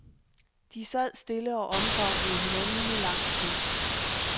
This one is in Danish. De sad stille og omfavnede hinanden i lang tid.